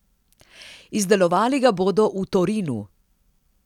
Izdelovali ga bodo v Torinu.